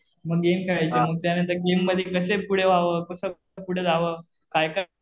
मग गेम खेळायचे. मग त्यांनतर गेम मध्ये कशे पुढं व्हावं? कसं पुढं जावं? काय काय